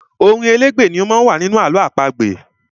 Orin elégbè ni ó má ń wà nínú àlọ́ àpagbè.